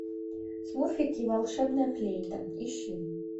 смурфики волшебная флейта ищи